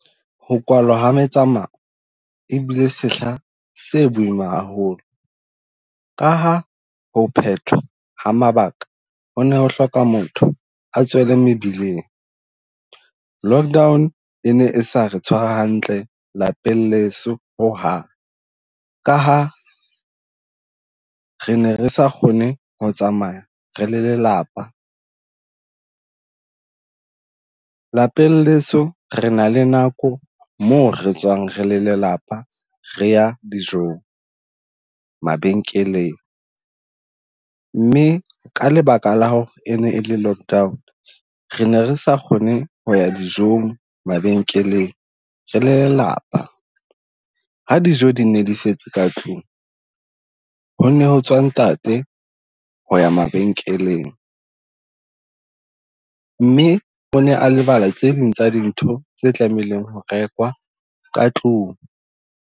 Ho kwalwa ha metsamao e bile sehla se boima haholo, ka ha ho phethwa ha mabaka ho ne ho hloka motho a tswele mebileng. Lockdown e ne e sa re tshwara hantle lapeng leso ho hang, ka ha re ne re sa kgone ho tsamaya re le lelapa. Lapeng leso re na le nako moo re tswang re le lelapa, re ya dijong, mabenkeleng mme ka lebaka la ho e ne e le lock down, re ne re sa kgone ho ya dijong, mabenkeleng re lelapa. Ha dijo di ne di fetse ka tlung ho ne ho tswa ntate ho ya mabenkeleng mme o ne a lebala tse ding tsa dintho tse tlamehileng ho rekwa ka tlung.